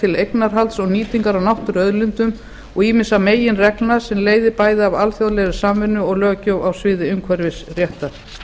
til eignarhalds og nýtingar á náttúruauðlindum og ýmissa meginreglna sem leiðir bæði af alþjóðlegri samvinnu og löggjöf á sviði umhverfisréttar